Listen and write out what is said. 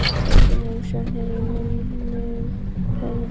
Þessi heimsókn er í minnum höfð.